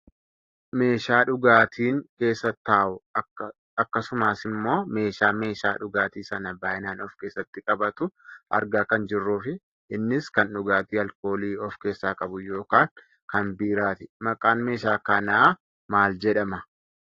Meeshaa dhugaatiin keessa taa'u akkasumasimmoo meeshaa meeshaa dhugaatii sana baayyinaan of keessatti qabatu argaa kan jirruufi innis kan dhugaatii alkoolii of keessaa qabuu yookaan kan biiraati. Maqaan meeshaa kanaa maal jedhama?